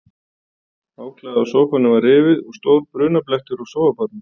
Áklæðið á sófanum var rifið og stór brunablettur á sófaborðinu.